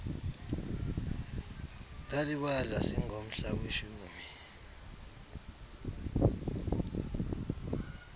ndalibala singomhla weshumi